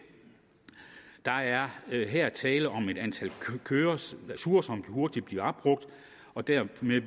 der er her tale om et antal ture som hurtigt bliver opbrugt og dermed bliver